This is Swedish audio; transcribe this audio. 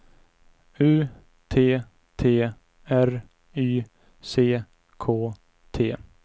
U T T R Y C K T